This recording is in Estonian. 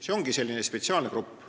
See ongi selline erigrupp.